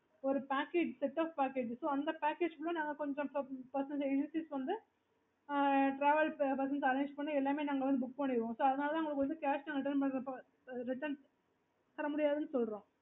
okay